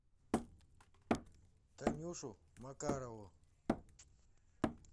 танюшу макарову